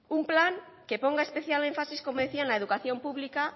un plan que ponga especial énfasis como decía en la educación pública